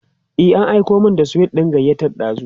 e an Aiko min da sweet ɗin gayyata dazun